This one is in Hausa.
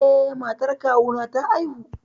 Eh, matar kawuna ta haihu.